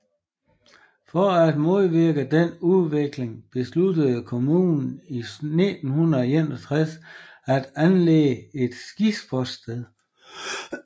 For at modvirke den udvikling besluttede kommunen i 1961 at anlægge et skisportssted